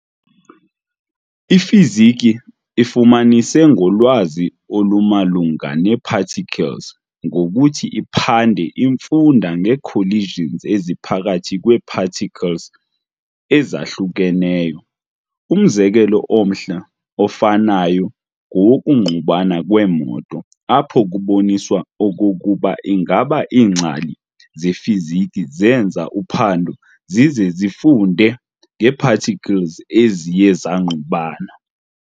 IFiziki ifumanise ngolwazi olumalunga nee-particles ngokuthi iphande infunda ngee-collisions eziphakathi kwee-particles ezahlukeneyo. Umzekelo omhle ofanayo ngowokungqubana kweemoto, apho kuboniswa okokuba ingaba iingcali zeFiziki zenza uphando zize zifunde ngee-particles eziye zangqubana.